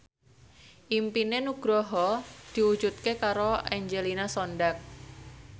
impine Nugroho diwujudke karo Angelina Sondakh